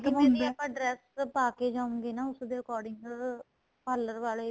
ਹਾਂਜੀ ਦੀਦੀ ਆਪਾਂ dress ਪਾਕੇ ਜਉਗੇ ਨਾ ਉਸ ਦੇ according parlor ਵਾਲੇ ਵੀ